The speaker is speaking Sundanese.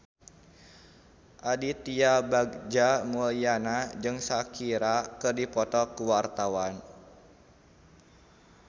Aditya Bagja Mulyana jeung Shakira keur dipoto ku wartawan